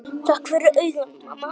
Ég fékk tár í augun.